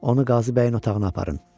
Onu Qazi bəyin otağına aparın.